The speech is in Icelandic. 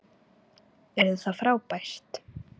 Yrði það frábært?